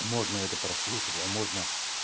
можно это прослушать а можно